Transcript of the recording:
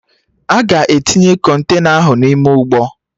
Aga etinye Kọntena ahụ n'ime ụgbọ